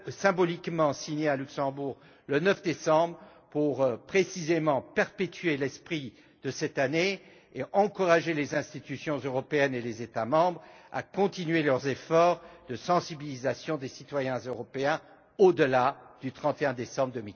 symboliquement signée à Luxembourg le 9 décembre pour, précisément, perpétuer l'esprit de cette Année et encourager les institutions européennes et les États membres à continuer leurs efforts de sensibilisation des citoyens européens au delà du 31 décembre